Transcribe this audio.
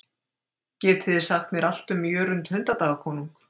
Geti þið sagt mér allt um Jörund hundadagakonung?